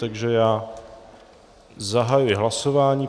Takže já zahajuji hlasování.